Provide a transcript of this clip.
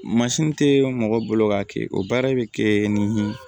tɛ mɔgɔ bolo k'a kɛ o baara bɛ kɛ ni